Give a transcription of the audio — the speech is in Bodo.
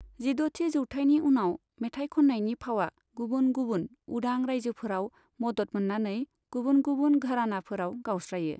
जिद'थि जौथायनि उनाव, मेथाइ खननायनि फावा गुबुन गुबुन उदां रायजोफोराव मदद मोननानै गुबुन गुबुन घरानाफोराव गावस्रायो।